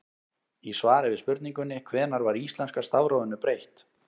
Í svari við spurningunni Hvenær var íslenska stafrófinu breytt?